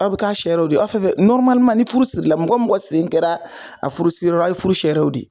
Aw bi k'a siyɛrɛw de ye aw fɛn fɛn ni furu sirila mɔgɔ mɔgɔ sen kɛra a furusiyɔrɔ la aw ye furu siyɛrɛw de ye.